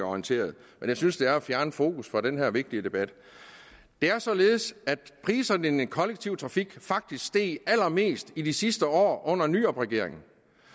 orienteret jeg synes det er at fjerne fokus fra den her vigtige debat det er således at priserne i den kollektive trafik faktisk steg allermest i de sidste år under nyrupregeringen